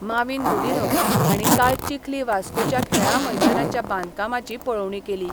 माविन गुदिन्हो हांणी काल चिखली वास्कोच्या खेळां मैदानाच्या बांदकामाची पळोवणी केली.